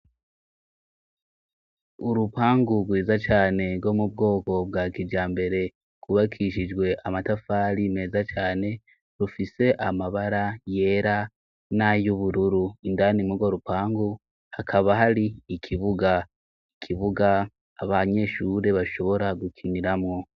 Urupangu rwiza cane rwo mubwoko bwa kijambere rwubakishijwe amatafari meza cane rufise amabara yera n'ayubururu, indani murwo rupangu hakaba hari ikibuga, ikibuga abanyeshure bashobora gukiniramwo.